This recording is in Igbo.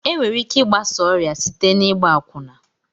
Enwere ike igbasa ọrịa site n'igba akwụna.